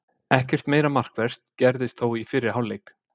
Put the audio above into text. Ekkert meira markvert gerðist þó í fyrri hálfleik.